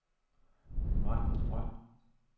Majbritt Grøn